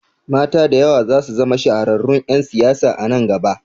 Mata da yawa zasu zama shahararrun ƴan siyasa a nan gaba